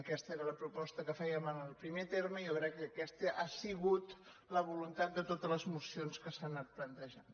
aquesta era la proposta que fèiem en el primer terme i jo crec que aquesta ha sigut la voluntat de totes les mocions que s’han anat plantejant